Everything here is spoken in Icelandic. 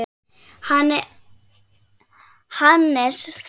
Hannes Þór.